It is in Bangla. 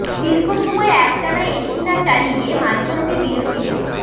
দীর্ঘসময় একটানা এসি না চালিয়ে মাঝে মাঝে বিরতি দেয়া